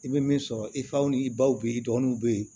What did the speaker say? I bɛ min sɔrɔ i faw ni i baw bɛ yen i dɔgɔninw bɛ yen